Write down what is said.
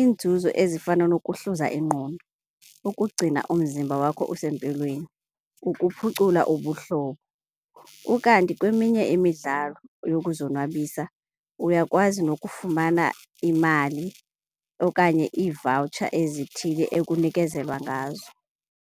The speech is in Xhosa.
Iinzuzo ezifana nokuhluza ingqondo, ukugcina umzimba wakho usempilweni, ukuphucula ubuhlobo. Ukanti kweminye imidlalo yokuzonwabisa uyakwazi nokufumana imali okanye ii-voucher ezithile ekunikezelwa ngazo.